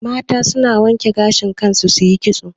Mata na wanke gashi kan su yi ƙitso